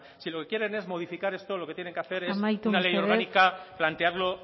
si lo que quieren es modificar esto lo que tienen que hacer es una ley orgánica plantearlo